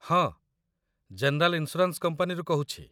ହଁ, general insurance କମ୍ପାନୀରୁ କହୁଛି।